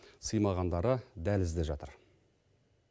сыймағандары дәлізде жатыр